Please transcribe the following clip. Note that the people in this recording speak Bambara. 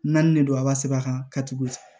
Naani de don aba sɛbɛ a kan ka tugu